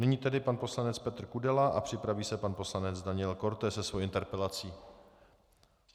Nyní tedy pan poslanec Petr Kudela a připraví se pan poslanec Daniel Korte se svou interpelací.